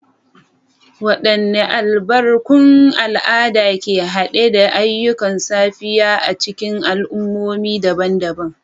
Wadanne albarkun al'ada ke hade da ayyukan safiya a cikin al'ummomi daban-daban?